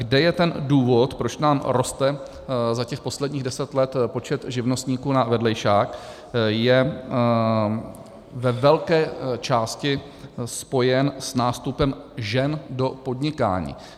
Kde je ten důvod, proč nám roste za těch posledních deset let počet živnostníků na vedlejšák, je ve velké části spojen s nástupem žen do podnikání.